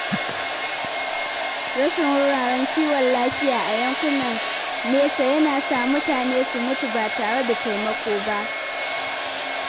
Rashin wuraren kiwon lafiya a yankunan nesa yana sa mutane su mutu ba tare da taimako ba.